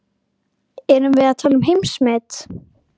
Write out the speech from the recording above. Erum við að tala um heimsmet?